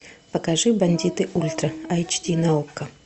покажи бандиты ультра эйч ди на окко